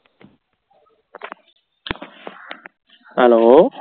hello